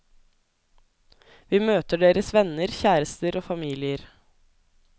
Vi møter deres venner, kjærester og familier.